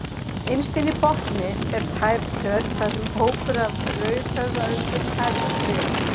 Innst inni í botni er tær tjörn þar sem hópur af rauðhöfðaöndum hefst við.